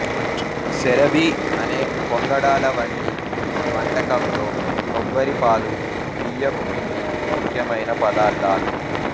సెరబీ అనే పొంగడాల వంటి వంటకంలో కొబ్బరిపాలు బియ్యపు పిండి ముఖ్యమైన పదార్ధాలు